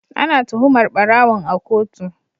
Ana tuhumar barawon a kotu.